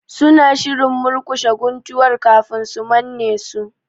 Suna shirin murƙushe guntuwar kafin su manne su